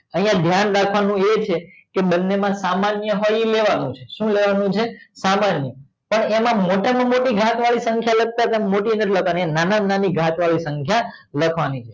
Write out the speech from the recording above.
આય ધ્યાન રાખવાનું ઈ છે કે બને માં સામાન્ય હોય ઈ લેવાનું છે સુ લેવાનું છે સામાન્ય પણ એમ મોટા માં મોટી ઘાત વાડી સંખ્યા લખતા તા મોટી નથી લખવાની નાના માં નાની ઘાત વાડી સંખ્યા લખવાની છે